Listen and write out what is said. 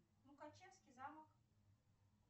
мукачевский замок